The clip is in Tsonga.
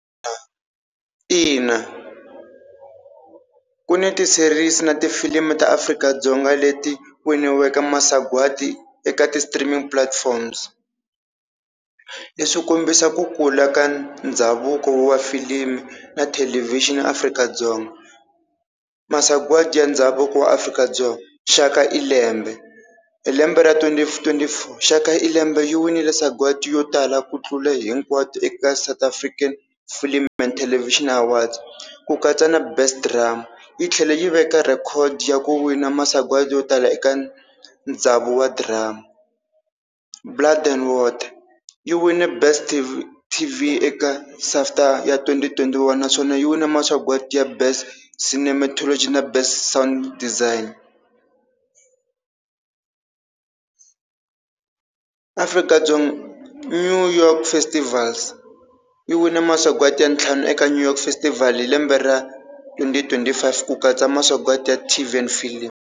Ina ku ni ti-series na tifilimu ta Afrika-Dzonga leti winiweke masagwati eka ti-streaming platforms leswi swi kombisaka ku kula ka ndhavuko wa filimi na thelevixini Afrika-Dzonga. Masagwadi ya ndhavuko wa Afrika-Dzonga Shaka ilembe hi lembe ra twenty twenty four Shaka ilembe yi winile sagwadi yo tala ku tlula hinkwato eka South African Film and Television Award, ku katsa na Best Drama. Yi tlhela yi veka record ya ku wina masagwadi yo tala eka ndhavuko wa Drama. Blood and Water yi wine best T_V eka SAFTA ya twenty twenty one, naswona yi wile masagwati ya Best Cinematology na Best Sound Design . Afrika-Dzonga New York Festivals yi wine masagwati ya ntlhanu eka New York festivals hi lembe ra twenty twenty five ku katsa masagwati ya T_V and Film.